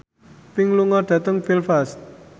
Pink lunga dhateng Belfast